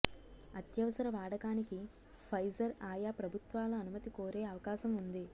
అత్యవసర వాడకానికి ఫైజర్ ఆయా ప్రభుత్వాల అనుమతి కోరే అవకాశం ఉంది